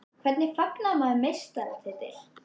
Hvernig fagnar maður meistaratitli?